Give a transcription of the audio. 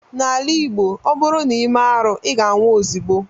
N'ala Igbo, ọ bụrụ na i mee arụ, ị ga-anwụ ozigbo